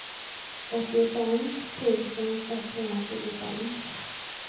åttiofem tusen etthundratjugofem